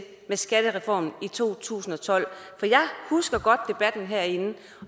med skattereformen i to tusind og tolv jeg husker godt debatten herinde